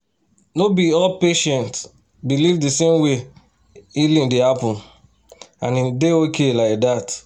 no be all patients believe the same way healing dey happen — and e dey okay like that.